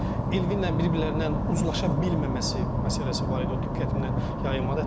Amma Elvinlə bir-birlərindən uzlaşa bilməməsi məsələsi var idi, o diqqətimdən yayılmadı.